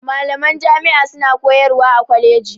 Malaman jami'a suna koyarwa a kwaleji